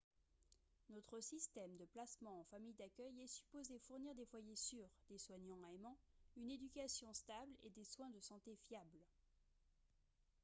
notre système de placement en famille d'accueil est supposé fournir des foyers sûrs des soignants aimants une éducation stable et des soins de santé fiables